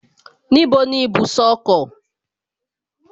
Níbo ni ibùsọ̀ ọkọ̀?